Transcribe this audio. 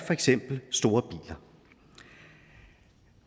for eksempel store biler